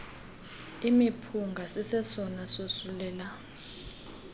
imiphunga sisesona sosulela